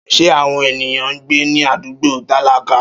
Ṣé àwọn ènìyàn ń gbé ní àdúgbò tálákà?